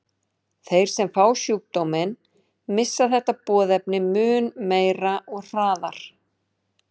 Þeir sem fá sjúkdóminn missa þetta boðefni mun meira og hraðar.